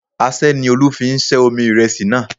Aṣẹ́ ni Olú fi ṣẹ́ omi ìrẹsì náà